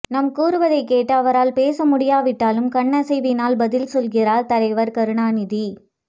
நாம் கூறுவதை கேட்டு அவரால் பேச முடியாவிட்டாலும் கண்ணசைவினால் பதில் செல்கிறார் தலைவர் கருணாநிதி